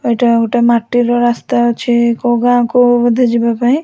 ଏଇଟା ଗୋଟେ ମାଟିର ରାସ୍ତା ଅଛି କୋଉ ଗାଁକୁ ବୋଧେ ଯିବା ପାଇଁ ।